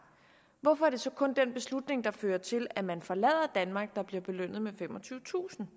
hvorfor er det så kun den beslutning der fører til at man forlader danmark der bliver belønnet med femogtyvetusind